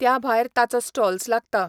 त्या भायर ताचो स्टॉल्स लागता.